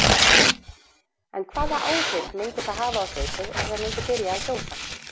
En hvaða áhrif myndi það hafa á hlaupið ef það myndi byrja að gjósa?